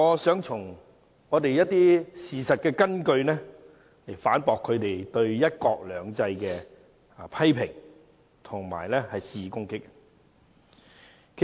因此，我想從事實根據反駁他們對"一國兩制"的批評和肆意攻擊。